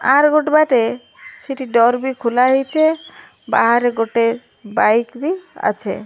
ଆର ଗୁଟେ ବାଟେ ସେଠି ଡୋର ବି ଖୋଲା ହେଇଛେ ବାହାରେ ଗୋଟେ ବାଇକ ବି ଅଛେ।